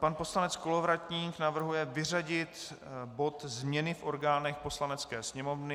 Pan poslanec Kolovratník navrhuje vyřadit bod změny v orgánech Poslanecké sněmovny.